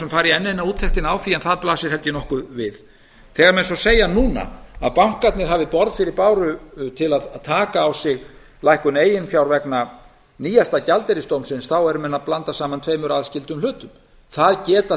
sem fara í enn eina úttektina á því en það blasir held ég nokkuð við þegar menn svo segja núna að bankarnir hafi borð fyrir báru til að taka á sig lækkun eigin fjár vegna nýjasta gjaldeyrisdómsins eru menn að blanda saman tveimur aðskildum hlutum það geta